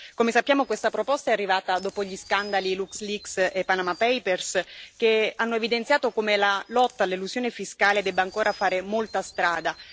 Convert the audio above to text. Come sappiamo, questa proposta è arrivata dopo gli scandali LuxLeaks e Panama Papers, che hanno evidenziato come la lotta all'elusione fiscale debba ancora fare molta strada.